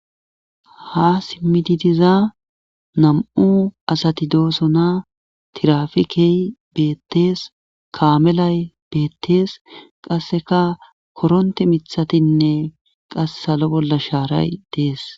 ha simmididiza nam7u asati dooso naa tirafikey bettees kaamelay beettees qasseka koronte mithatinne qas salo bolla shaaray dees